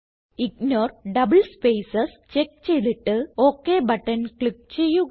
ignore double spaces check ചെയ്തിട്ട് OK button click ചെയ്യുക